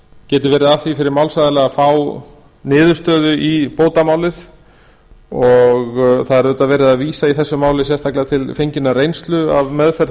geti verið að því fyrir málsaðila að fá niðurstöðu í bótamálið og það er auðvitað verið að vísa í þessu máli sérstaklega til fenginnar reynslu af meðferð